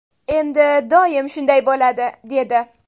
Endi doim shunday bo‘ladi”, dedi.